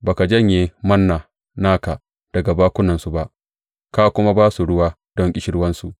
Ba ka janye Manna naka daga bakunansu ba, ka kuma ba su ruwa don ƙishirwansu.